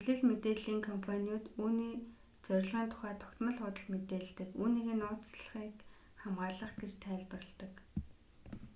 хэвлэл мэдээллийн компаниуд үүний зорилгын тухай тогтмол худал мэдээлдэг үүнийгээ нууцлалыг хамгаалах гэж тайлбарладаг